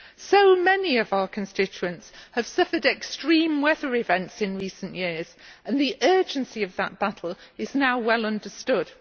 So many of our constituents have suffered extreme weather events in recent years and the urgency of that battle is now well understood.